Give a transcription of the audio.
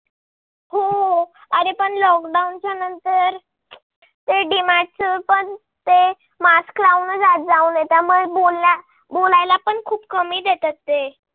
हो अरे प lock down च्या नंतर त depart च पण ते mask लाऊनच आत जाऊ देतात. मला बोल बोलायला पण खूप कमी देतात ते.